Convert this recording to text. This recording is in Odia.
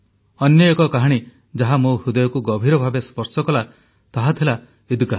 ଅନ୍ୟ ଏକ କାହାଣୀ ଯାହା ମୋ ହୃଦୟକୁ ଗଭୀର ଭାବେ ସ୍ପର୍ଶ କଲା ତାହା ଥିଲା ଈଦ୍ଗାହ